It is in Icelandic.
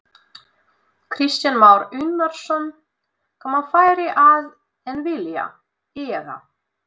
Kristján Már Unnarsson: Komast færri að en vilja eða?